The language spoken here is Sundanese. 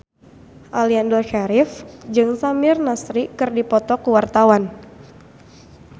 Aliando Syarif jeung Samir Nasri keur dipoto ku wartawan